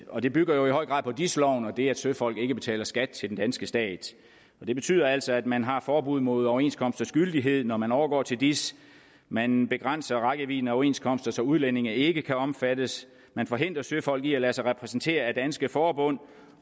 og det bygger jo i høj grad på dis loven og det at søfolk ikke betaler skat til den danske stat det betyder altså at man har forbud mod overenskomsters gyldighed når man overgår til dis man begrænser rækkevidden af overenskomster så udlændinge ikke kan omfattes man forhindrer søfolk i at lade sig repræsentere af danske forbund